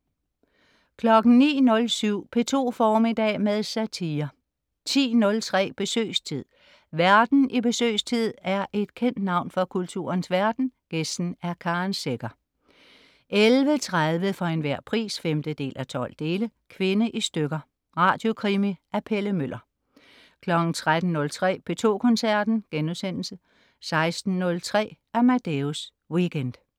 09.07 P2 formiddag med satire 10.03 Besøgstid. Værten i "Besøgstid" er et kendt navn fra kulturens verden, gæsten er Karen Secher 11.30 For enhver pris 5:12. Kvinde i stykker. Radiokrimi af Pelle Møller 13.03 P2 Koncerten* 16.03 Amadeus Weekend